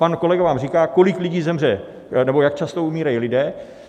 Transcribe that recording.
Pan kolega vám říká, kolik lidí zemře nebo jak často umírají lidé.